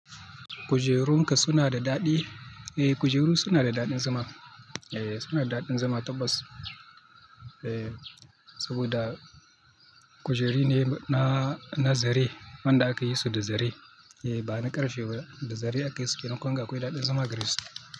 Kujerunka suna da daɗi. Eh kujeru suna da daɗin zama. Eh suna da daɗin zama tabbas. Eh saboda kujeru ne na na zare wanda aka yi su da zare. Eh ba na karfe ba, da zare aka yi su kenan kunga akwai daɗin zama gare su.